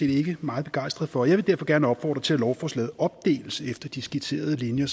ikke meget begejstrede for jeg vil derfor gerne opfordre til at lovforslaget opdeles efter de skitserede linjer